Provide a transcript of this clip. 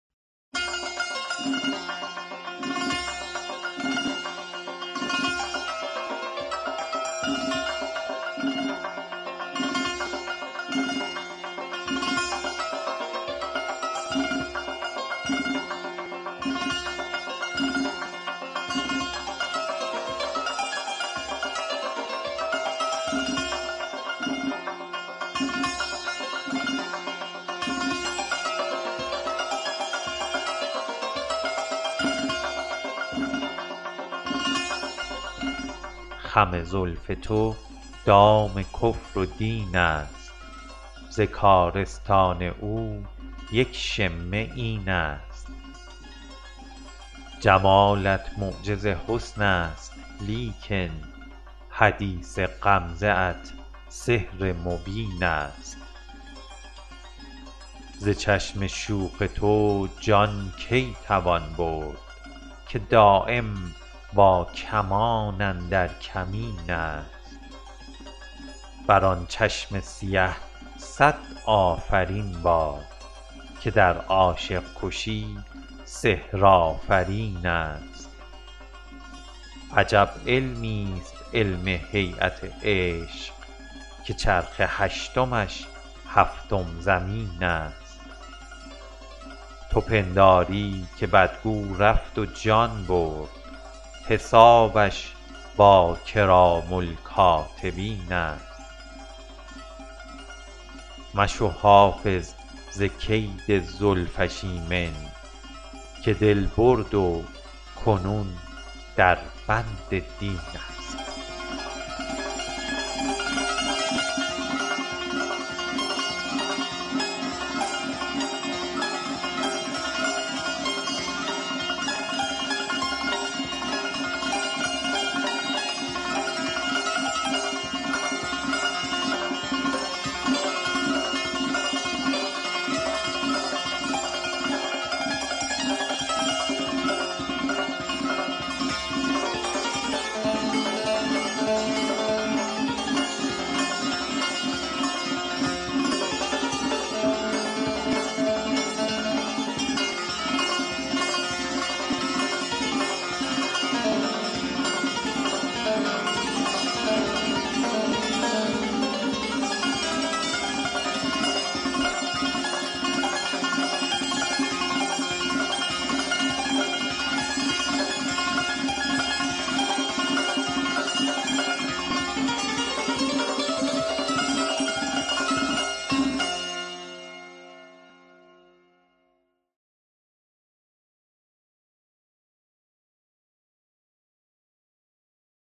خم زلف تو دام کفر و دین است ز کارستان او یک شمه این است جمالت معجز حسن است لیکن حدیث غمزه ات سحر مبین است ز چشم شوخ تو جان کی توان برد که دایم با کمان اندر کمین است بر آن چشم سیه صد آفرین باد که در عاشق کشی سحرآفرین است عجب علمیست علم هییت عشق که چرخ هشتمش هفتم زمین است تو پنداری که بدگو رفت و جان برد حسابش با کرام الکاتبین است مشو حافظ ز کید زلفش ایمن که دل برد و کنون در بند دین است